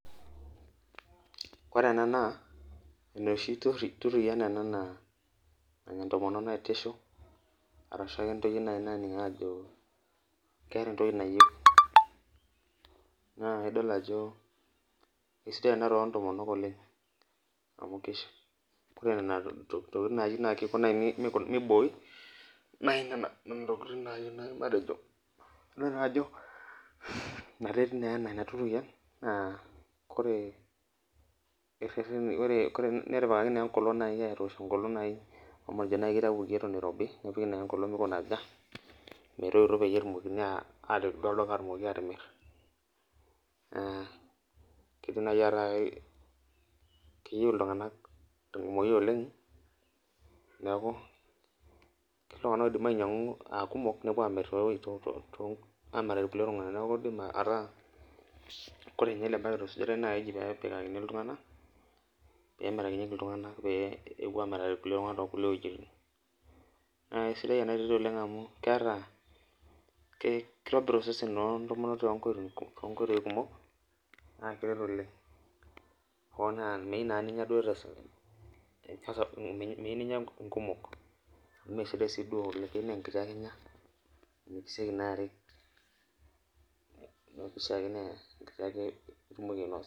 Ore ena naa enoshi turian ena naanya ntomonok naitisho arasua ntoyie naji nanik ake ajo keeta entoki nayieuni, naa idol ajo esidai ena toondomonok amu ore nena tokiting naayieu naa kiko naaji meibooi naaji nena tokiting naaji nayieuni matejo, neretu naaa ina turian ,nepikita najai enkolong amu imaniki naaji eitayioki eton eirobi nepiki naa enkolong meikunaja metoito pee etumokini duo awaita olduka ashomo atimir. keidim naaji ataasa keyeiu iltunganak tenkumoki oleng neeku ketii ltunganak oidim ainyangu aa kumok nepuo amiraki irkulie tunganak .neeku kaidim ata ore ninye ele baket opikitae naa keji pee emirakinyieki iltunganak pee epuo amiraki irkulie tunganak toonkulie wejitin ,naa keisidai ena toki amau kitobir iseseni loontomok toonkoitoi kumok keret oleng, naa meyiou naa ninya nkumok amu mesidai siduo oleng ,keyieu naa enkiti ake inya amu ekisieki naa arik neeku keyieu naa enkiti ake itumoki ainosa.